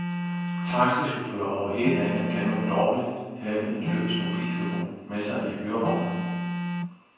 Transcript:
Taxichauffører over hele landet kan nu lovligt have en løs mobiltelefon med sig i hyrevognen.